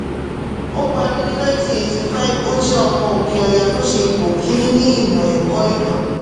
ó parí ní nineteen eighty five ó jẹ́ ọmọ òkè ọya to ṣe ipò kìnni ni ìmò ẹ̀kọ́ ìtàn